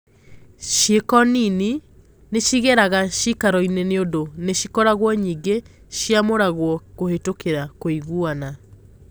Cieko nini nicigeragera ciikaroini niũndũ nicikoragwo nyinge ciamũragũo kuhitũkura kũiguwana